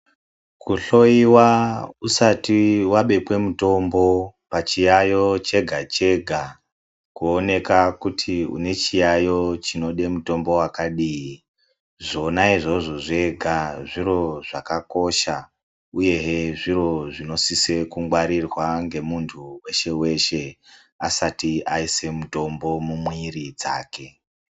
Kuhloyiwa usati wabekwe mutombo pachiyayo chega chega kuoneka kuti unechiyayo chinode mutombo wakadini zvona izvozvo zvega zviro zvakakosha uyehe zviro zvinosise kungwarirwa ngemunhu weshe-weshe asati aise mutombo mumwiri dzake.